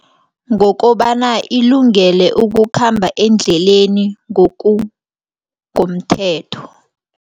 Ngokobana ilungele ukukhamba endleleni ngokungomthetho.